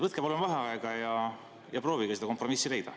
Võtke palun vaheaeg ja proovige seda kompromissi leida.